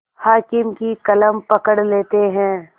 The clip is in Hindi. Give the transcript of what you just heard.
हाकिम की कलम पकड़ लेते हैं